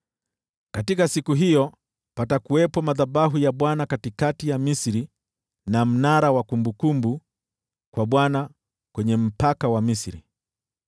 Katika siku hiyo patakuwepo madhabahu ya Bwana katikati ya Misri na mnara wa kumbukumbu kwa Bwana kwenye mpaka wa Misri.